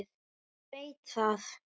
Hún veit það.